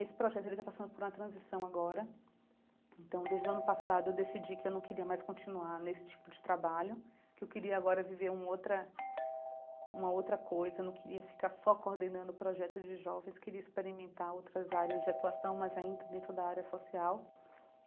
Esse projeto ele está passando por uma transição agora, então desde o ano passado eu decidi que eu não queria mais continuar nesse tipo de trabalho, que eu queria agora viver uma outra uma outra coisa, eu não queria ficar só coordenando o projeto de jovens, queria experimentar outras áreas de atuação, mas ainda dentro da área social.